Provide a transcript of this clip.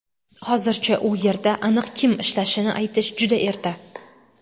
Hozircha u yerda aniq kim ishlashini aytish juda erta.